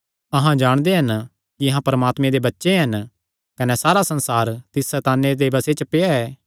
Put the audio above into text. अहां जाणदे हन कि अहां परमात्मे दे बच्चे हन कने सारा संसार तिस सैताने दे बसे च पेआ ऐ